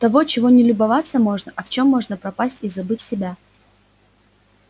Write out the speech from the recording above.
того чего не любоваться можно а в чём можно пропасть и забыть себя